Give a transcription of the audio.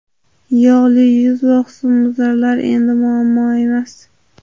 Yog‘li yuz va husnbuzarlar endi muammo emas!.